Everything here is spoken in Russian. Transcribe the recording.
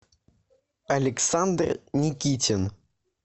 александр никитин